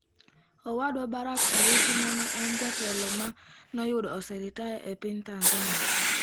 Owadwa Barack Owiti, ma ne en jatelo ma noyudo oseritaya e piny Tanzania.